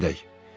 Gedək.